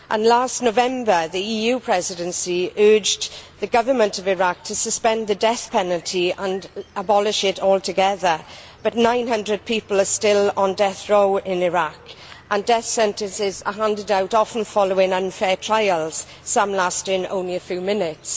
Last November, the EU Presidency urged the government of Iraq to suspend the death penalty and abolish it altogether, but 900 people are still on death row in Iraq and death sentences are handed out often following unfair trials, some lasting only a few minutes.